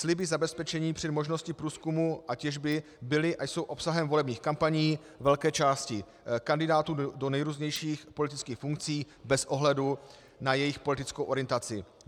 Sliby zabezpečení při možnosti průzkumu a těžby byly a jsou obsahem volebních kampaní velké části kandidátů do nejrůznějších politických funkcí bez ohledu na jejich politickou orientaci.